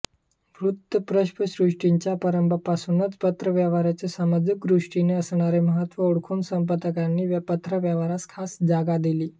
वूत्तपत्रसृष्टीच्या प्रारंभापासूनच पत्रव्यवहाराचे सामाजिकदृष्टीने असणारे महत्त्व ओळखून संपादकांनी पत्रव्यवहारास खास जागा दिली